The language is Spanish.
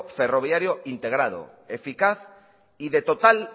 ferroviario integrado eficaz y de total